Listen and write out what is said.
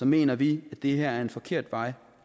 mener vi at det her er en forkert vej